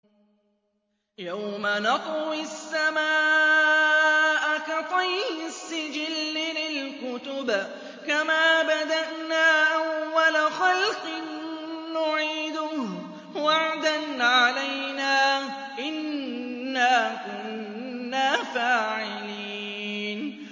يَوْمَ نَطْوِي السَّمَاءَ كَطَيِّ السِّجِلِّ لِلْكُتُبِ ۚ كَمَا بَدَأْنَا أَوَّلَ خَلْقٍ نُّعِيدُهُ ۚ وَعْدًا عَلَيْنَا ۚ إِنَّا كُنَّا فَاعِلِينَ